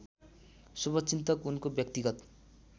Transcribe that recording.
शुभचिन्तक उनको व्यक्तिगत